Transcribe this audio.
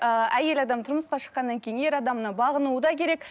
ыыы әйел адам тұрмысқа шыққаннан кейін ер адамына бағынуы да керек